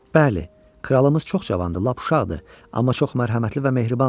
Bəli, kralımız çox cavandır, lap uşaqdır, amma çox mərhəmətli və mehribandır.